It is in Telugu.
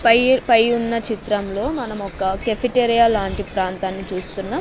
పై పై ఉన్న చిత్రంలో మనం ఒక కెఫిటేరియ లాంటి ప్రాంతాన్ని చూస్తున్నాం.